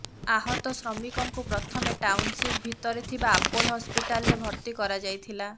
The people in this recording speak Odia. ଆହତ ଶ୍ରମିକଙ୍କୁ ପ୍ରଥମେ ଟାଉନସିପ୍ ଭିତରେ ଥିବା ଆପୋଲ ହସପିଟାଲରେ ଭର୍ତ୍ତି କରାଯାଇଥିଲା